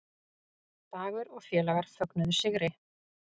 Dagur og félagar fögnuðu sigri